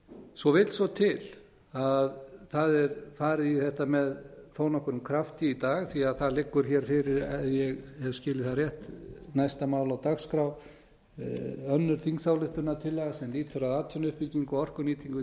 svo vill svo til að það er farið í þetta með þó nokkrum krafti í dag því það liggur hér fyrir ef ég hef skilið það rétt næsta mál á dagskrá önnur þingsályktunartillaga sem lýtur að atvinnuuppbyggingu og orkunýtingu í